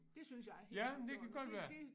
Det synes jeg helt afgjort det det